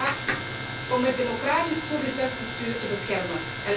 Ik vraag om het democratisch Koerdisch zelfbestuur te beschermen.